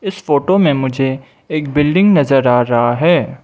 इस फोटो में मुझे एक बिल्डिंग नजर आ रहा है।